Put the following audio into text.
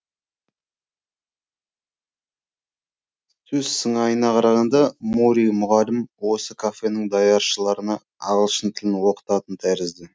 сөз сыңайына қарағанда мори мұғалім осы кафенің даяшыларына ағылшын тілін оқытатын тәрізді